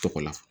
Tɔgɔ la